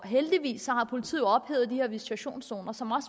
heldigvis har politiet ophævet de her visitationszoner som